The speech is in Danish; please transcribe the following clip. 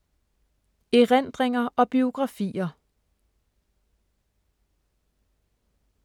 Erindringer og biografier